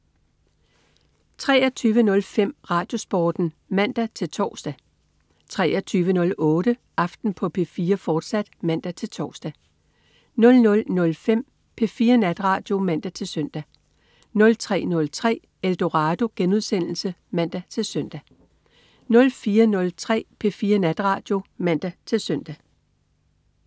23.05 RadioSporten (man-tors) 23.08 Aften på P4, fortsat (man-tors) 00.05 P4 Natradio (man-søn) 03.03 Eldorado* (man-søn) 04.03 P4 Natradio (man-søn)